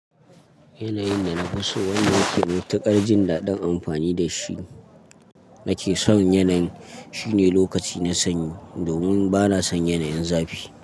Yanayin da na fi so wanda na ke matuƙar jin daɗin amfani da shi, nake son yanayin shine lokaci na sanyi domin bana son yanayin zafi.